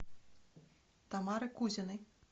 тамары кузиной